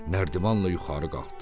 Nərdivanla yuxarı qalxdı.